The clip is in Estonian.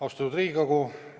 Austatud Riigikogu!